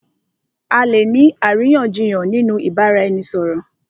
À lè ní àríyànjiyàn nínú ìbáraẹnisọ̀rọ̀.